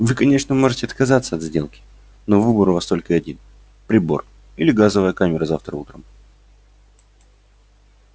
вы конечно можете отказаться от сделки но выбор у вас только один прибор или газовая камера завтра утром